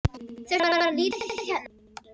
Þurfti bara að líta við hérna.